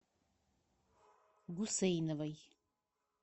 гусейновой